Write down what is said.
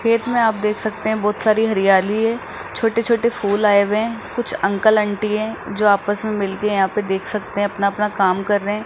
खेत में आप देख सकते हैं बहुत सारी हरियाली है छोटे-छोटे फूल आए हुए हैं कुछ अंकल आंटी हैं जो आपस में मिल के यहां पे देख सकते हैं अपना-अपना काम कर रहे हैं।